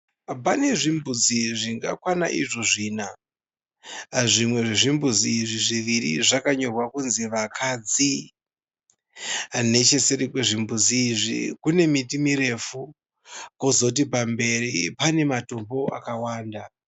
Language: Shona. Pane zvimbozi zvingakwana izvo zvina. Zvimwe zvezvimbuzi izvi zviviri zvakanyorwa kunzi vakadzi. Necheseri kwezvimbuzi izvi kune miti mirefu kozoti pamberi pane matombo akawanda.